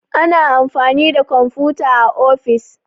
Ana amfani da komfuta a ofis